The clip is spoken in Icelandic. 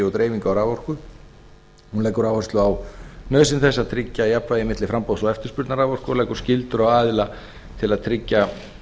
og dreifingu á raforku hún leggur áherslu á nauðsyn þess að tryggja jafnvægi milli framboðs og eftirspurnar raforku og leggur skyldur á aðila til að tryggja